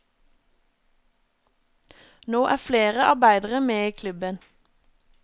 Nå er flere arbeidere med i klubben.